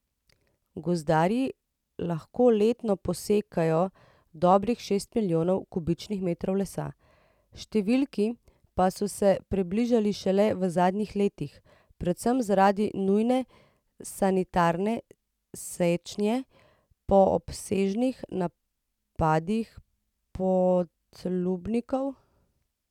Gozdarji lahko letno posekajo dobrih šest milijonov kubičnih metrov lesa, številki pa so se približali šele v zadnjih letih, predvsem zaradi nujne sanitarne sečnje po obsežnih napadih podlubnikov.